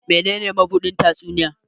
menene mabusdin tatsuniya?